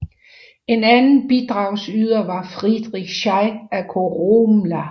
En anden bidragsyder var Friedrich Schey af Koromla